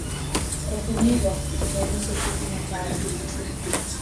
Razumljivo, da niso sentimentalni.